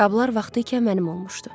Qablar vaxtı ikən mənim olmuşdu.